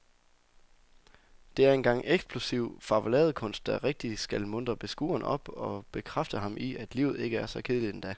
Det er en gang eksplosiv farveladekunst, der rigtig skal muntre beskueren op og bekræfte ham i, at livet ikke er så kedeligt endda.